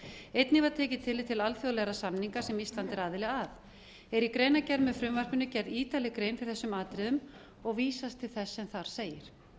einnig var tekið tillit til alþjóðlegra samninga sem ísland var aðili að er í greinargerð með frumvarpinu gerð ítarleg grein fyrir þessum atriðum og vísast til þess sem þar segir